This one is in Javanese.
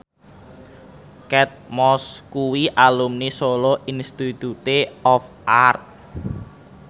Kate Moss kuwi alumni Solo Institute of Art